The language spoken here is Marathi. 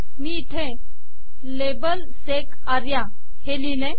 मी इथे लाबेल - एसईसी आर्या हे लिहिले